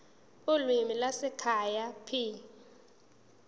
ulimi lwasekhaya p